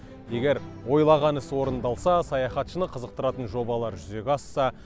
егер ойлаған іс орындалса саяхатшыны қызықтыратын жобалар жүзеге асса